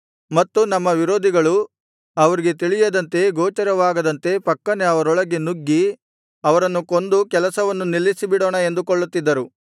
ಮತ್ತು ನಮ್ಮ ವಿರೋಧಿಗಳು ಅವರಿಗೆ ತಿಳಿಯದಂತೆ ಗೋಚರವಾಗದಂತೆ ಫಕ್ಕನೆ ಅವರೊಳಗೆ ನುಗ್ಗಿ ಅವರನ್ನು ಕೊಂದು ಕೆಲಸವನ್ನು ನಿಲ್ಲಿಸಿಬಿಡೋಣ ಎಂದುಕೊಳ್ಳುತ್ತಿದ್ದರು